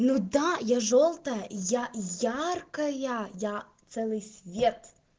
ну да я жёлтая я яркая я целый свет